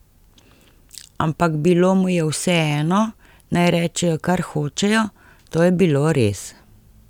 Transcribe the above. Ampak bilo mu je vseeno, naj rečejo, kar hočejo, to je bilo res.